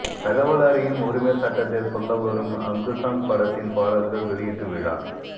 தகவல் அறியும் உரிமைச் சட்டத்தைச் சொல்லவரும் அங்குசம் படத்தின் பாடல்கள் வெளியீட்டு விழா